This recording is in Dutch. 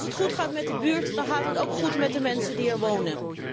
Als het goed gaat met de buurt, dan gaat het ook goed met de mensen die er wonen.